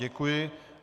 Děkuji.